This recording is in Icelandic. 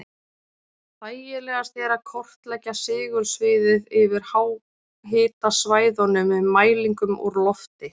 Þægilegast er að kortleggja segulsviðið yfir háhitasvæðunum með mælingum úr lofti.